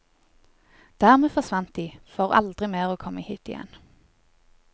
Dermed forsvant de for aldri mer å komme hit igjen.